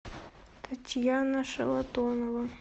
татьяна шалатонова